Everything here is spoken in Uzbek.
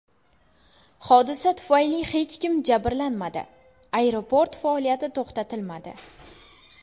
Hodisa tufayli hech kim jabrlanmadi, aeroport faoliyati to‘xtatilmadi.